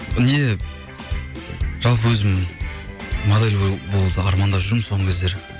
не жалпы өзім модель болуды армандап жүрмін соңғы кездері